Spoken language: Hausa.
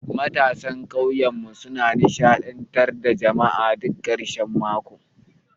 Matasan ƙauyenmu suna nishadantar da jama'a duk karshen mako.